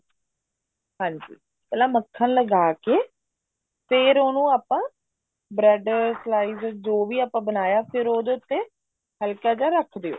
ਹਾਂਜੀ ਪਹਿਲਾਂ ਮੱਖਣ ਲਗਾ ਕੇ ਫ਼ੇਰ ਉਹਨੂੰ ਆਪਾਂ bread slice ਜੋ ਵੀ ਆਪਾਂ ਬਣਾਇਆ ਫ਼ੇਰ ਉਹਦੇ ਤੇ ਹਲਕਾ ਜਾ ਰੱਖ ਦਿਓ